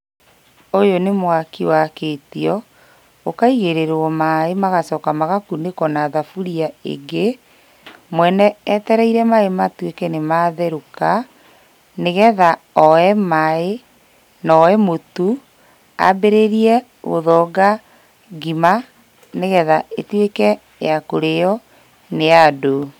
Ũyũ nĩ mwaki wakĩtio, ũkaigĩrĩrwo maĩ magacoka magakunĩkwo na thaburia ĩngĩ, mwene etereire maĩ matuĩke nĩ matherũka, nĩgetha oe maĩ, na oe mũtu a=ambĩrĩrie gũthonga ngima nĩgetha ĩtuĩke yakũrĩo nĩ andũ.